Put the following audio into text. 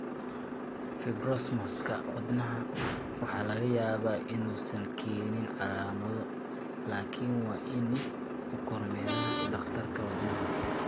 Fibromaska ​​wadnaha waxaa laga yaabaa inuusan keenin calaamado, laakiin waa in uu kormeero dhakhtarka wadnaha.